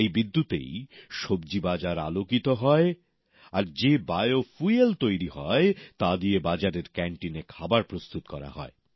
এই বিদ্যুতেই সবজি বাজার আলোকিত হয়় আর যে জৈব জ্বালানী তৈরী হয় তা দিয়ে বাজারের ক্যান্টিনে খাবার প্রস্তুত করা হয়